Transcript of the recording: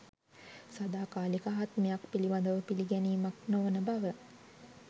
සදාකාලික ආත්මයක් පිළිබඳව පිළිගැනීමක් නොවන බව